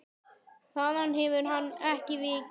Þaðan hefur hann ekki vikið.